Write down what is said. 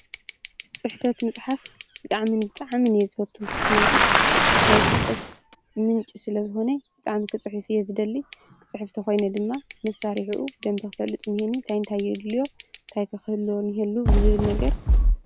ፅሕፈት ምፅሓፍ ብጣዕሚ ብጣዕምን እየ ዝፈቱ። ምክንያቱ ናይ ፍልጠት ምንጪ ስለዝኾነ ብጣዕሚ ክፅሕፍ እየ ዝደሊ ክፅሕፍ ተኾይነ ድማ መሳሪሑኡ ብደንቢ ክፈልጥ እኒሀኒ እንታይ እንታይ የድልዮ እንታይ ከ ክህልወኒ እኒዎ ብዝብል ነገር